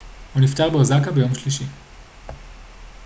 הוא נפטר באוסקה ביום שלישי